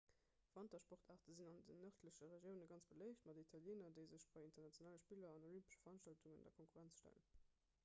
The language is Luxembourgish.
wantersportaarte sinn an den nërdleche regiounen ganz beléift mat italieener déi sech bei internationale spiller an olympesche veranstaltungen der konkurrenz stellen